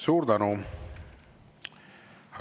Suur tänu!